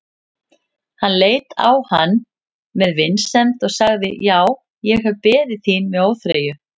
Hann leit á hann með vinsemd og sagði:-Já, ég hef beðið þín með óþreyju.